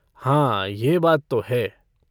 हाँ यह बात तो है।